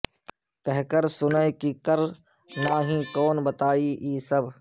کہ کر سنیں کہ کر ناہیں کون بتائی ای سب